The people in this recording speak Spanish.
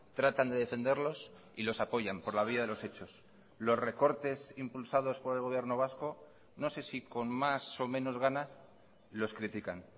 tratan de defenderlos y los apoyan por la vía de los hechos los recortes impulsados por el gobierno vasco no sé si con más o menos ganas los critican